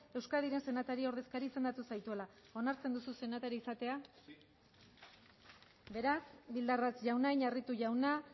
euskadiren senatari ordezkari izendatu zaituela onartzen duzu senatari izatea beraz bildarratz jauna iñarritu jauna